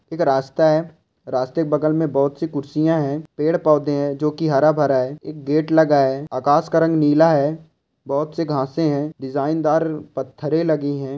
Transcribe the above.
एक रास्ता है रास्ते के बगल में बहुत सी कुर्सियां है पेड़ पौधा है जोंकी हरे भरे है एक गेट लगा है आकाश का रंग नीला है बहुत सी घासे है डिज़ाइन दार पत्थार लगी है।